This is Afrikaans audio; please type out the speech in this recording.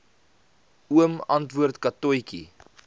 oom antwoord katotjie